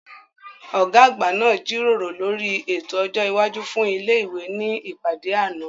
Ọ̀gá àgbà náà jíròrò lórí ètò ọjọ́ iwájú fún ilé ìwé ní ìpàdé àná